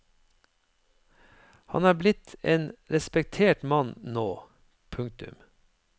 Han er blitt en respektert mann nå. punktum